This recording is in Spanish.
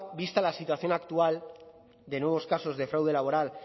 vista la situación actual de nuevos casos de fraude laboral